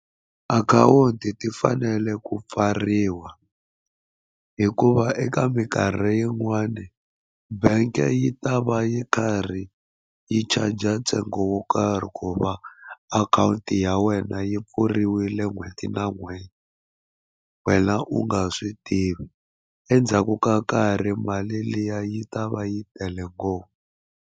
Akhawunti ti fanele ku pfariwa hikuva eka minkarhi yin'wani bank yi ta va yi karhi yi charger ntsengo wo karhi ku va akhawunti ya wena yi pfuriwile n'hweti na n'hweti wena u nga swi tivi endzhaku ka nkarhi mali liya yi ta va yi tele ngopfu.